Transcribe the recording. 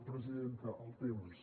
presidenta el temps